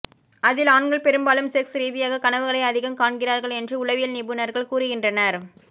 அதில் ஆண்கள் பெரும்பாலும் செக்ஸ் ரீதியான கனவுகளை அதிகம் காண்கிறார்கள் என்று உளவியல் நிபுணர்கள் கூறுகின்றனர்